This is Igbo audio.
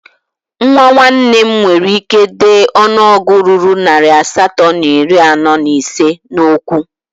Nwa nwanne m nwere ike dee ọnụọgụ ruru narị asatọ na iri anọ na ise n'okwu